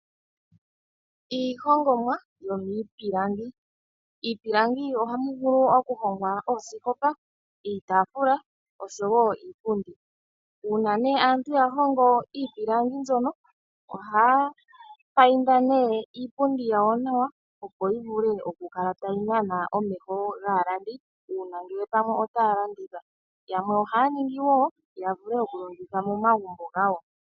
Iihongomwa yomiipilangi. Miipilangi ohamu vulu okuhongwa oosikopa, uutaafula oshowoo iipundi. Uuna aantu ya hongo iipilangi mbyono ohaya mbambeke iipundi yawo nawa , opo yivule okukala tayi nana omeho gaalandi uuna pamwe otaya landitha. Yamwe ohaya ningi wo yavule okulongitha momagumbo gawo.